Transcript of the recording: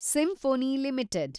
symphony limited